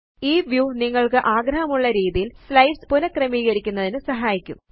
ഈ വ്യൂ നിങ്ങള്ക്ക് ആഗ്രഹമുള്ള രീതിയില് സ്ലൈഡ്സ് പുനഃക്രമീകരിക്കുന്നതിന് സഹായിക്കും